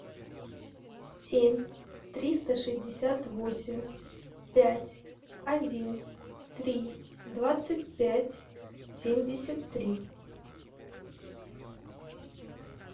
семь триста шестьдесят восемь пять один три двадцать пять семьдесят три